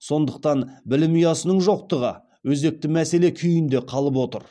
сондықтан білім ұясының жоқтығы өзекті мәселе күйінде қалып отыр